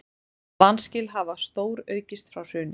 Vanskil hafa stóraukist frá hruni